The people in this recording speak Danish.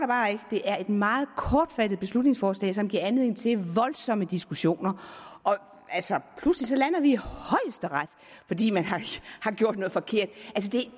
bare ikke det er et meget kortfattet beslutningsforslag som giver anledning til voldsomme diskussioner pludselig lander vi i højesteret fordi man har gjort noget forkert